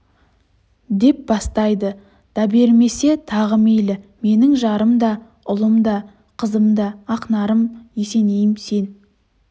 деп бастайды дабермесе тағы мейлі менің жарым да ұлым да қызым да ақнарым есенейім сен